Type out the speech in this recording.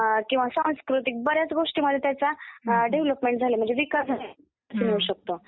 किंवा सांस्कृतिक, बऱ्याच गोष्टीमध्ये त्याचा डेव्हलपमेंट झाली म्हणजे विकास होऊ शकतो.